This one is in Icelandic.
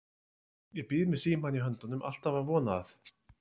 Ég bíð með símann í höndunum, alltaf að vona að